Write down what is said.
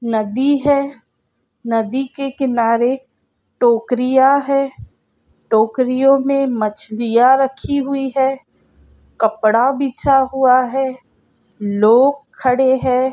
नदी है नदी के किनारे मछलिया है टोकरिया है|